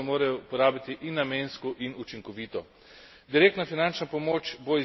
Zato želim, da se sredstva morajo porabiti in namensko in učinkovito.